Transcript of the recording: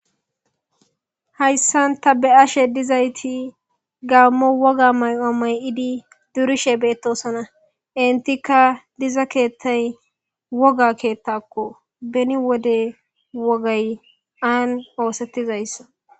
Hayssan tani be'ashe dizayiti gammo woga may'oo Mayo'di durishshe bettosona entikka diza kettayi woga ketakko beni wode wogay ani ossettizaysa.